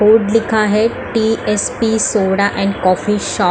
board लिखा है T S P soda and coffee Shaw--